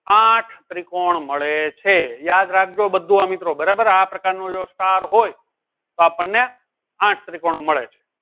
આઠ ત્રિકોણ મળે છે યાદ રાખજો બધું આ મિત્રો બરાબર આ પ્રકારનો ક્ષાર હોય તો આપણને આઠ ત્રિકોણ મળે છે